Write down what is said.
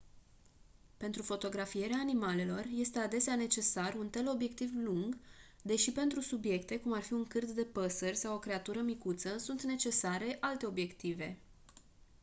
pentru fotografierea animalelor este adesea necesar un teleobiectiv lung deși pentru subiecte cum ar fi un cârd de păsări sau o creatură micuță sunt necesare alte obiective